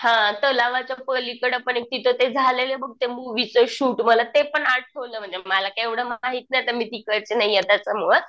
हां तलावाच्या पलीकडं पण एक तिथं ते झालेले बघ ते मुव्हीचं शूट मला ते पण आठवलं म्हणजे मला काय एवढं माहित नाही मी तिकडची नाहीये त्याच्यामुळंच.